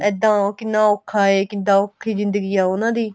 ਇੱਦਾਂ ਓ ਕਿੰਨਾ ਔਖਾ ਏ ਕਿੱਦਾਂ ਔਖੀ ਜਿੰਦਗੀ ਏ ਉਨ੍ਹਾਂ ਦੀ